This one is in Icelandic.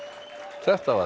þetta var